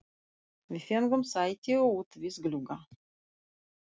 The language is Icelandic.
Við fengum sæti út við glugga.